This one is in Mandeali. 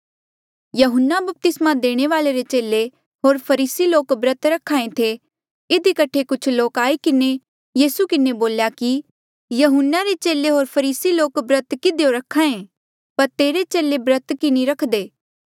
यहून्ना बपतिस्मा देणे वाल्ऐ रे चेले होर फरीसी लोक ब्रत रख्हा ऐें थे इधी कठे कुछ लोक आई किन्हें यीसू के बोल्या कि यहून्ना रे चेले होर फरीसी लोक ब्रत किधियो रख्हा ऐें पर तेरे चेले ब्रत की नी करदे